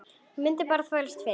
Ég mundi bara þvælast fyrir.